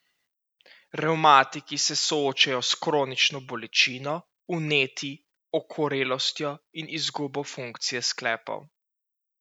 Revmatiki se soočajo s kronično bolečino, vnetji, okorelostjo in izgubo funkcije sklepov.